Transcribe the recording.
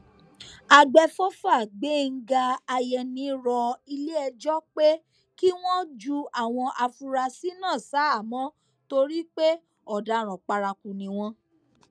àgbẹfọfà gbẹngàn àyẹni rọ iléẹjọ pé kí wọn ju àwọn afurasí náà ṣaháàmọ torí pé ọdaràn paraku ni wọn